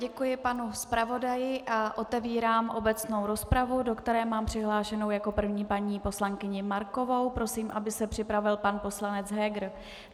Děkuji panu zpravodaji a otevírám obecnou rozpravu, do které mám přihlášenu jako první paní poslankyni Markovou, prosím, aby se připravil pan poslanec Heger.